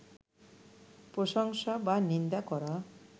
প্রশংসা বা নিন্দা করা